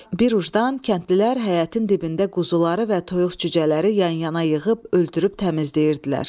Bir ucdan kəndlilər həyətin dibində quzuları və toyuq cücələri yan-yana yığıb öldürüb təmizləyirdilər.